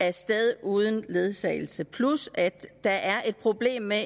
af sted uden ledsagelse plus at der er et problem med